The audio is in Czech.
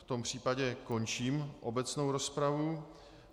V tom případě končím obecnou rozpravu.